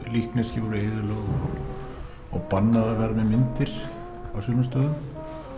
líkneski voru eyðilögð og bannað að vera með myndir á sumum stöðum